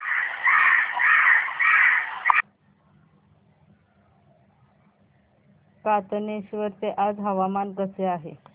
कातनेश्वर चे आज हवामान कसे आहे